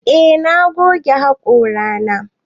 Eh na goge haƙora na.